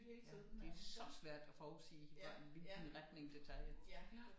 Ja det er så svært og forudsige hvordan hvilken retning det tager